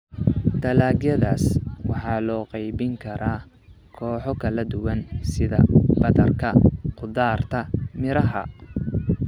Dalagyadaas waxaa loo qaybin karaa kooxo kala duwan sida badarka, khudaarta, miraha.